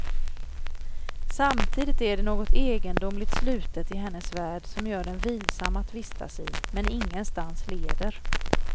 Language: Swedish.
Samtidigt är det något egendomligt slutet i hennes värld som gör den vilsam att vistas i men ingenstans leder.